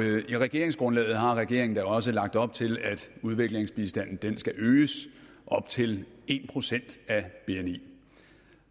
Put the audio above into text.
i regeringsgrundlaget har regeringen også lagt op til at udviklingsbistanden skal øges op til en procent af bni